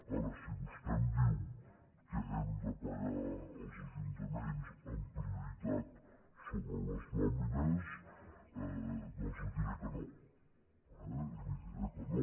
ara si vostè em diu que hem de pagar els ajuntaments amb prioritat sobre les nòmines doncs li diré que no eh li diré que no